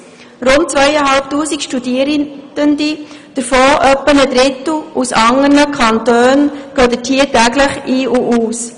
Rund 2500 Studie rende, davon etwa ein Drittel aus anderen Kantonen, gehen dort täglich ein und aus.